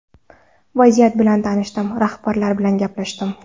Vaziyat bilan tanishdim, rahbarlar bilan gaplashdim.